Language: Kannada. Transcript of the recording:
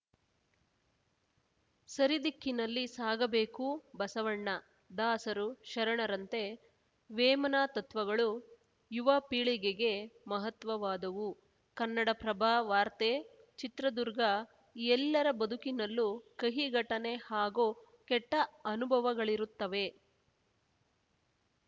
ಸರಿದಿಕ್ಕಿನಲ್ಲಿ ಸಾಗಬೇಕು ಬಸವಣ್ಣ ದಾಸರು ಶರಣರಂತೆ ವೇಮನ ತತ್ವಗಳು ಯುವ ಪೀಳಿಗೆಗೆ ಮಹತ್ವವಾದವು ಕನ್ನಡಪ್ರಭ ವಾರ್ತೆ ಚಿತ್ರದುರ್ಗ ಎಲ್ಲರ ಬದುಕಿನಲ್ಲೂ ಕಹಿ ಘಟನೆ ಹಾಗೂ ಕೆಟ್ಟಅನುಭವಗಳಿರುತ್ತವೆ